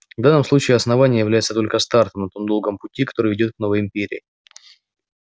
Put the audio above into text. в данном случае основание является только стартом на том долгом пути который ведёт к новой империи